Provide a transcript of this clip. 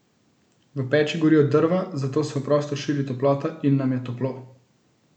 V peči gorijo drva, zato se v prostor širi toplota in nam je toplo.